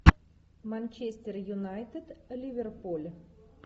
манчестер юнайтед ливерпуль